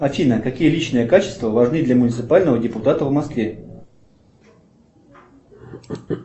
афина какие личные качества важны для муниципального депутата в москве